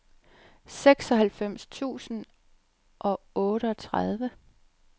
seksoghalvfems tusind og otteogtredive